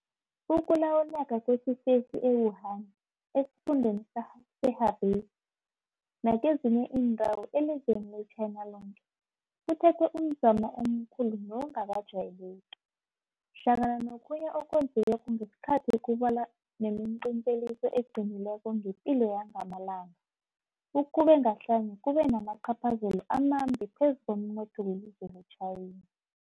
Ukulawuleka kwesifesi e-Wuhan, esiFundeni se-Hubei nakezinye iindawo elizweni le-China loke kuthethe umzamo omkhulu nongakajayeleki. Hlangana nokhunye okwenzi weko ngesikhatheso kubalwa nemiqinteliso eqinileko ngepilo yangamalanga ukube ngahlanye kube namacaphazela amambi phezu komnotho welizwe le-China.